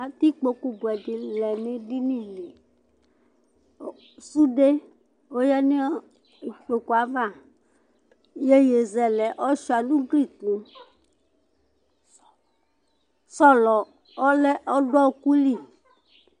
Atɛ ɩkpoku buɛɖɩ lɛ nu eɖɩnɩ lɩ Suɖe oya nu ɩkpokue ava Ɩyeye zɛlɛ ɔṣhua nuglɩ foe Sõlõ ɔlɛ ɔɖu ɔku lɩ